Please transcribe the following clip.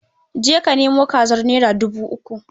Je ka nemo kazar naira dubu uku.